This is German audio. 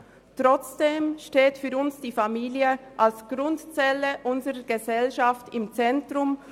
Trotzdem steht für uns als Grundzelle unserer Gesellschaft die Familie im Zentrum.